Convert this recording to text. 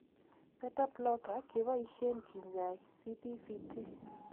Beta blocker kebasyen kinyaay CPVT.